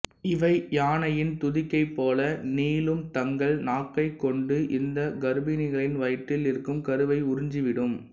இவை யானையின் துதிக்கை போல நீளும் தங்கள் நாக்கைக் கொண்டு இந்த கர்ப்பிணிகளின் வயிற்றில் இருக்கும் கருவை உறிஞ்சி விடும்